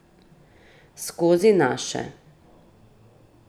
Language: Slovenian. Skozi naše.